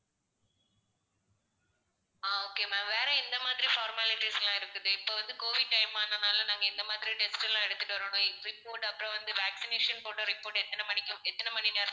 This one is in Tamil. அஹ் okay ma'am வேற எந்தமாதிரி formalites லாம் இருக்குது இப்போ வந்து covid time அதனால நாங்க எந்த மாதிரி test எல்லாம் எடுத்துட்டு வரணும் report அப்பறம் வந்து vaccination போட்ட report எத்தனை மணிக்கு எத்தனை மணிநேரம்